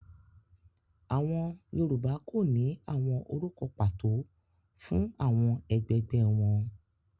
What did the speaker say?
Àwọn Yorùbá kò ní àwọn orúkọ pàtó fún àwọn ẹgbẹgbẹ́ wọn.